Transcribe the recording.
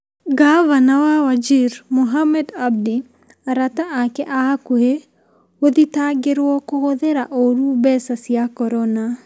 Ngavana wa Wajir Mohamed Abdi, arata aake a hakũhĩ gũthitangĩrwo kũhũthira ũũru mbeca cia Korona.